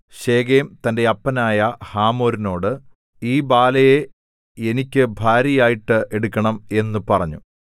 Shechem തന്റെ അപ്പനായ ഹമോരിനോട് ഈ ബാലയെ എനിക്ക് ഭാര്യയായിട്ട് എടുക്കണം എന്നു പറഞ്ഞു